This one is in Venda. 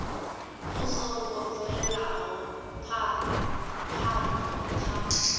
vhu songo bvelaho phana kha